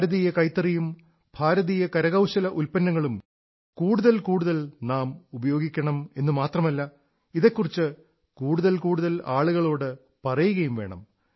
ഭാരതീയ കൈത്തറിയും ഭാരതീയ കരകൌശല ഉത്പന്നങ്ങളും കൂടുതൽ കൂടുതൽ നാം ഉപയോഗിക്കണം എന്നു മാത്രമല്ല ഇതെക്കുറിച്ച് കൂടുതൽ കൂടുതൽ ആളുകളോടു പറയുകയും വേണം